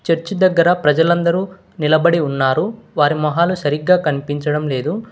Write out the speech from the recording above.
Church దగ్గర ప్రజలందరు నిలబడి ఉన్నారు వారి మొహాలు సరిగ్గా కన్పించడం లేదు.